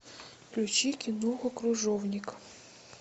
включи киноху кружовник